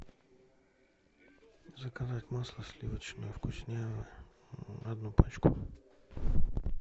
заказать масло сливочное вкусняево одну пачку